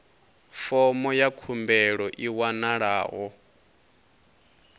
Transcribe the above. fomo ya khumbelo i wanalaho